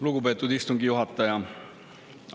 Lugupeetud istungi juhataja!